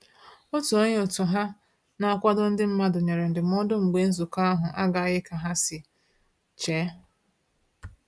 Otu onye òtù ha na-akwado ndị mmadụ nyere ndụmọdụ mgbe nzukọ ahụ agaghị ka esiri che